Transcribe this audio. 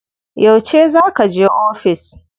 Yauce za kaje ofis?